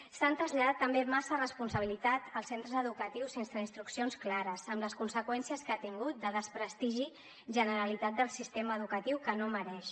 s’ha traslladat també massa responsabilitat als centres educatius sense instruccions clares amb les conseqüències que ha tingut de desprestigi generalitzat del sistema educatiu que no mereix